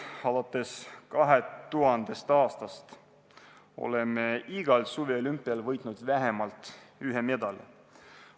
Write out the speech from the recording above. Alates 2000. aastast oleme igal suveolümpial võitnud vähemalt ühe medali.